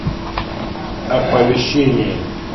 оповещение